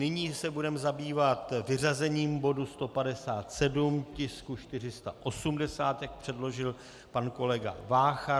Nyní se budeme zabývat vyřazením bodu 157, tisku 480, jak předložil pan kolega Vácha.